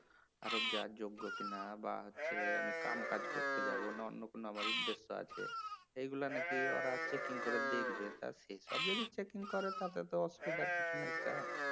আরব যাবার যোগ্য কিনা বা হচ্ছে আমি কামকাজ করতে যাব নাকি অন্য কোনো আমার উদ্দেশ্য আছে এইগুলা নাকি ওরা চেকিং করে দেখবে তা সেসব যদি চেকিং করে তাতেই তো অসুবিধার কিছু নেই গা"